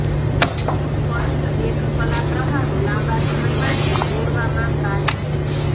સ્પષ્ટ એક કલા પ્રવાહો લાંબા સમય માટે દોરવામાં કાચ છે